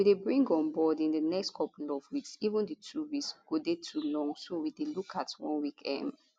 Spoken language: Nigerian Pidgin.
we dey bring onboard in di next couple of weeks even di two weeks go dey too long so we dey look at one week um